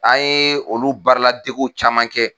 An ye olu baara ladegiw caman kɛ.